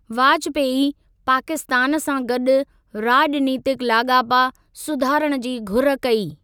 वाजपेयी पाकिस्तान सां गॾु राॼनीतिक लाॻापा सुधारण जी घुर कई।